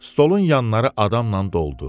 Stolun yanları adamla doldu.